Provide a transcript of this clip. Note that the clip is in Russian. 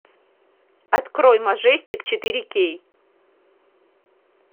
открой мажестик четыре кей